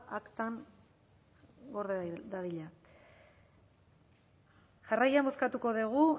aktan gorde dadila jarraian bozkatuko dugu